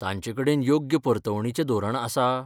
तांचेकडेन योग्य परतवणीचें धोरण आसा?